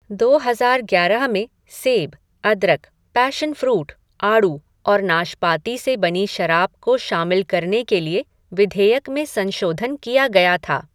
दो हज़ार ग्यारह में सेब, अदरक, पैशन फ़्रूट, आड़ू और नाशपाती से बनी शराब को शामिल करने के लिए विधेयक में संशोधन किया गया था।